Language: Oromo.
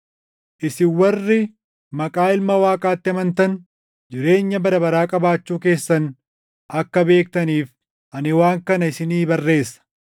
Isin warri maqaa Ilma Waaqaatti amantan jireenya bara baraa qabaachuu keessan akka beektaniif ani waan kana isinii barreessa.